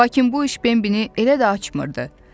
Lakin bu iş Bembini elə də açmırdı.